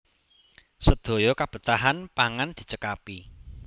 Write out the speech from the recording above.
Sedaya kebetahan pangan dicekapi